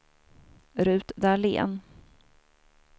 Ruth Dahlén